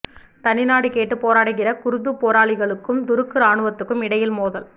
தனிநாடு கேட்டு போராடுகிற குர்து போராளிகளுக்கும் துருக்கு ராணுவத்துக்கும் இடையில் மோதல்